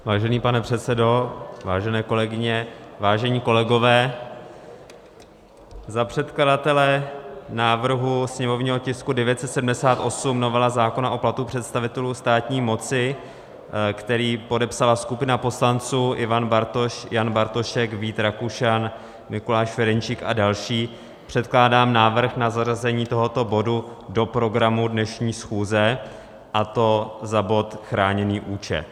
Vážený pane předsedo, vážené kolegyně, vážení kolegové, za předkladatele návrhu sněmovního tisku 978, novela zákona o platu představitelů státní moci, který podepsala skupina poslanců Ivan Bartoš, Jan Bartošek, Vít Rakušan, Mikuláš Ferjenčík a další, předkládám návrh na zařazení tohoto bodu do programu dnešní schůze, a to za bod chráněný účet.